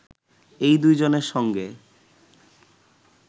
এই দুজনের সঙ্গে